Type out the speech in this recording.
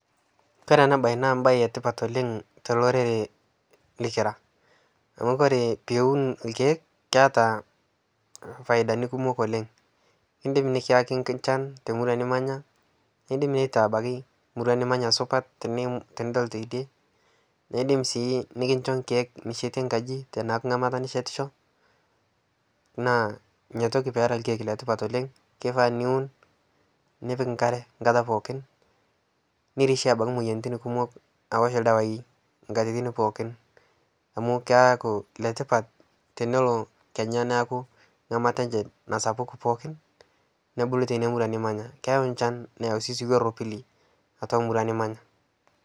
kore ana bai naa mbai etipat oleng tolorere likira amu kore piwun lkeek keata faidani kumok oleng indim nikiyaki nchan te murua nimanya indim neitaa abaki murua nimanya supat tinidol teidie neidim sii nikincho nkeek nishetie nkaji taneaku ngamata neshetisho naa inia toki peera lkeek letipat oleng keifaa niwun nipik nkare nkata pookin nirishie abaki moyaritin kumok awosh ldawai nkatitin pooki amu keaku letipat nolo kenyaa naaku ngamata enshe nasapuku pookin nebulu teinia murua nimanya keyau nchan neyau sii siwoo eropili atua murua nimanya